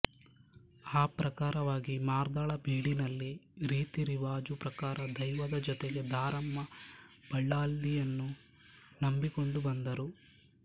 ಆ ಪ್ರಕಾರವಾಗಿ ಮಾರ್ದಳ ಬೀಡಿನಲ್ಲಿ ರೀತಿ ರಿವಾಜು ಪ್ರಕಾರ ದೈವದ ಜೊತೆಗೆ ದಾರಮ್ಮ ಬಲ್ಲಾಲ್ದಿಯನ್ನು ನಂಬಿಕೊಂಡು ಬಂದರು